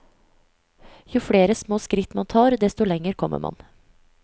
Jo flere små skritt man tar, desto lenger kommer man.